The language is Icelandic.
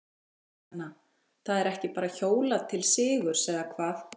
Kristjana, það er ekki bara hjólað til sigurs eða hvað?